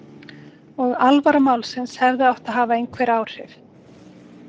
Og alvara málsins hefði átt að hafa einhver áhrif.